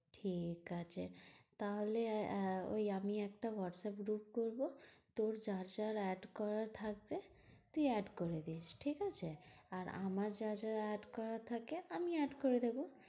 ঠিকাছে তাহলে আহ ওই আমি একটা হোয়াটস্যাপ group করবো। তোর যার যা add করার থাকবে তুই add করে দিস। ঠিকাছে? আর আমার যার যার add করার থাকে আমি add করে নেবো।